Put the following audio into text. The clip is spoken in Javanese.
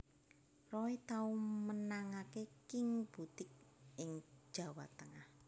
Roy tau menangaké King Boutique ing Jawa Tengah